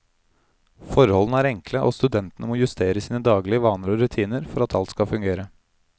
Forholdene er enkle, og studentene må justere sine daglige vaner og rutiner for at alt skal fungere.